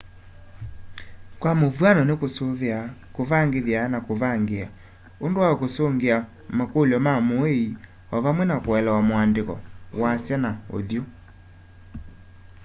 kwa mũvwano nĩ kũsũvĩa kũvangĩthya na kũvangĩĩa ũndũ wa kũsũngĩa makũlyo ma mũũĩ o vamwe na kũelewa mũandĩko wasya na ũthyũ